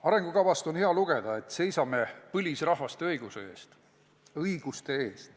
Arengukavast on hea lugeda, et me seisame põlisrahvaste õiguste eest.